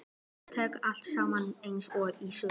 Þetta gekk allt saman eins og í sögu.